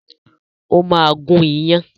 O ma gún iyán